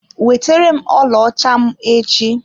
Weterem ọlaọcha m echi!